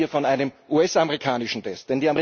Wir reden ja hier von einem US amerikanischen Test.